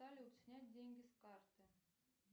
салют снять деньги с карты